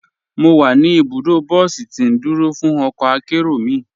Mọ́ wà ní ibùdó bọ̀sí tì ndúró fún ọkọ̀ àkéró mi.